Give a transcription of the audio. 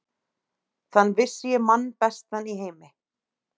Þann vissi ég mann bestan í heimi.